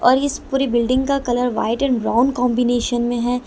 और इस पूरी बिल्डिंग का colour white and brown combination में है।